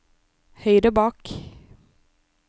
høyre bak